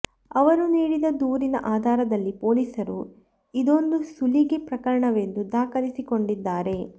ಅವರು ನೀಡಿದ ದೂರಿನ ಆಧಾರದಲ್ಲಿ ಪೊಲೀಸರು ಇದೊಂದು ಸುಲಿಗೆ ಪ್ರಕರಣವೆಂದು ದಾಖಲಿಸಿಕೊಂಡಿದ್ದಾರೆ